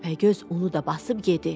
Təpəgöz onu da basıb yedi.